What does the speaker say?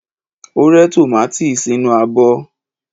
O re tomati sinu abo